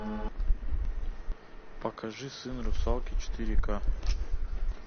покажи сын русалки четыре ка